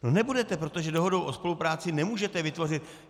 No nebudete, protože dohodou o spolupráci nemůžete vytvořit...